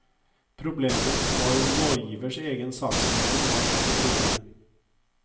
Problemet var om lovgivers egen saksbehandling var betryggende.